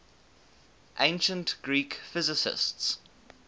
ancient greek physicists